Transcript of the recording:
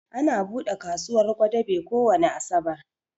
Ana buɗe kasuwar Gwadabe kowani Asabar